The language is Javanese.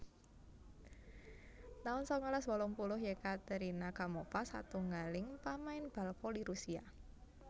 taun sangalas wolung puluh Yekaterina Gamova satunggaling pamain bal voli Rusia